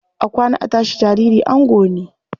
A kwana, a tashi, jariri ango ne.